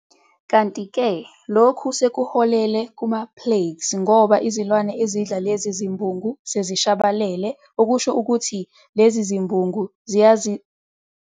Kanti-ke lokhu sekuholele kumaplagues ngoba izilwane ezidla lezi zibungu sezishabalele okuhsho ukuthi lezi zibungu ziyazezenzela ezitshalweni zethu zethu.